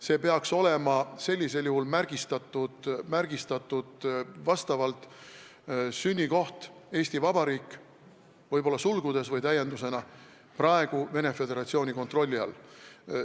Sünnikohana peaks olema märgitud Eesti Vabariik, võib-olla sulgudes või täiendusena võiks olla lisatud, et praegu on see Venemaa Föderatsiooni kontrolli all.